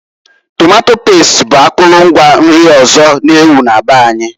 Tomato past bụ akụlụ ngwa nri ọzọ n'ewu na be anyị.